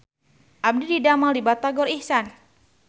Abdi didamel di Batagor Ikhsan